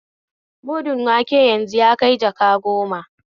Mudun wanke yanzu yakai jaka goma